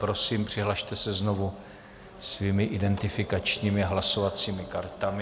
Prosím, přihlaste se znovu svými identifikačními hlasovacími kartami.